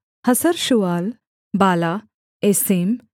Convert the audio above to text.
हसर्शूआल बाला एसेम